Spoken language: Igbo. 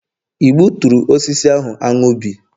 i gbuturu osisi ahụ anu bi?